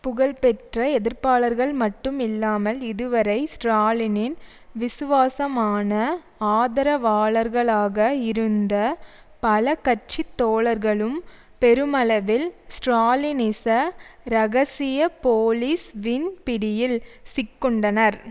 புகழ்பெற்ற எதிர்ப்பாளர்கள் மட்டும் இல்லாமல் இதுவரை ஸ்ட்ராலினின் விசுவாசமான ஆதரவாளர்களாக இருந்த பல கட்சி தோழர்களும் பெருமளவில் ஸ்ட்ராலினிச இரகசிய போலீஸ் வின் பிடியில் சிக்குண்டனர்